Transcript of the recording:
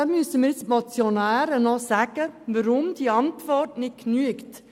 Hier sollten mir die Motionäre noch sagen, weshalb die Antwort des Regierungsrats nicht ausreicht.